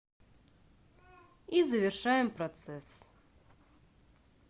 и завершаем процесс